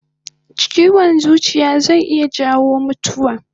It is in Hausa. Chiwon zuciya zai iya jawo mutuwa